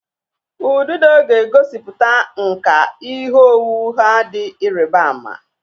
Ududo ga-egosiputa nkà ihe owuwu ha dị ịrịba ama.